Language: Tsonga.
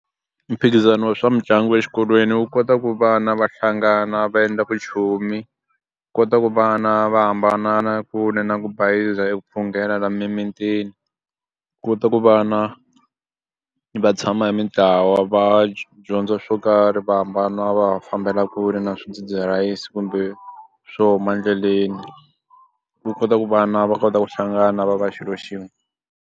Mphikizano wa swa mitlangu exikolweni wu kota ku vana va hlangana va endla vuchomi kota ku vana va hambana na kule na ku bayiza hi ku phungela laha mimitini kota ku va na va tshama hi mitlawa va dyondza swo karhi va hambana va fambela kule na swidzidziharisi kumbe swo huma endleleni ku kota ku vana va kota ku hlangana va va xilo xin'we.